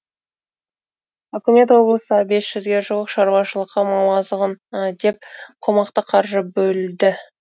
үкімет облыстағы бес жүзге жуық шаруашылыққа мал азығына деп қомақты қаржы бөлді